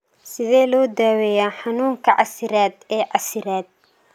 Sidee loo daweeyaa xanuunka casiraad ee casiraad?